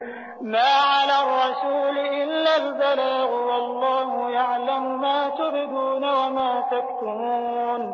مَّا عَلَى الرَّسُولِ إِلَّا الْبَلَاغُ ۗ وَاللَّهُ يَعْلَمُ مَا تُبْدُونَ وَمَا تَكْتُمُونَ